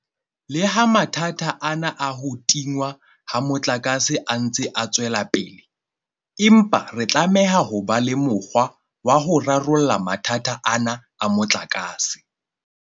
Leha mathata ana a ho tingwa ha motlakase a ntse a tswela pele, empa re tlameha ho ba le mokgwa wa ho rarolla mathata ana a motlakase.